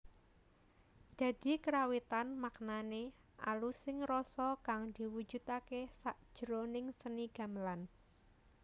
Dadi karawitan maknané alusing rasa kang diwujudaké sakjroning seni gamelan